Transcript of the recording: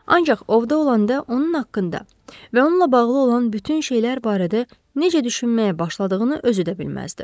Ancaq ovda olanda onun haqqında və onunla bağlı olan bütün şeylər barədə necə düşünməyə başladığını özü də bilməzdi.